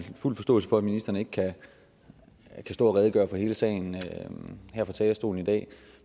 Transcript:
har fuld forståelse for at ministeren ikke kan stå at redegøre for hele sagen her fra talerstolen i dag